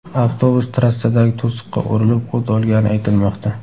Avtobus trassadagi to‘siqqa urilib, o‘t olgani aytilmoqda.